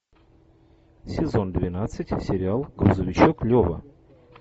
сезон двенадцать сериал грузовичок лева